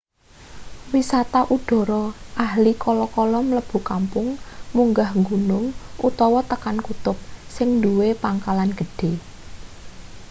wisata udhara ahli kala-kala mlebu kampung munggah gunung utawa tekan kutub sing nduwe pangkalan gedhe